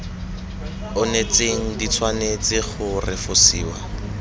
onetseng di tshwanetse go refosiwa